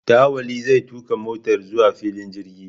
Dawali zai tuka motar zuwa filin jirgi.